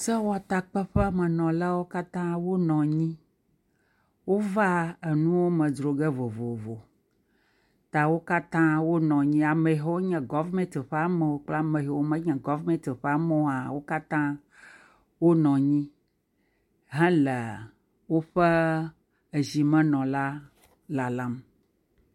Sewotakpeƒemenɔlawo katã wonɔ anyi. Wova nuwo me dzro ge vovovo ta wo katã wonɔ anyi. Ame yiwo nye gɔvimɛti ƒe amewo kple ame yiwo menye gɔvimɛti ƒe amewo hã wo katã wonɔ anyi hele woƒe zimenɔla lalam.